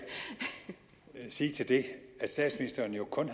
sige til det at statsministeren jo kun